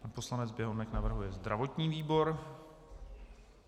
Pan poslanec Běhounek navrhuje zdravotní výbor.